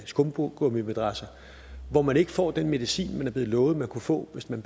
skumgummimadrasser og hvor man ikke får den medicin man er blevet lovet man kunne få hvis man